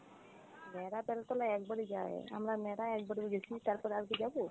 ন্যাড়া বেল তলায় একবারই যায় আমরা ন্যাড়া একবারই গেছি তারপরে কি যাব?